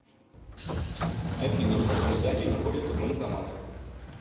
афина в каком здании находится банкомат